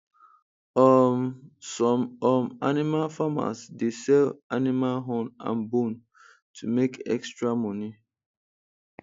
um some um animal farmers dey sell animal horn and bone to make extra money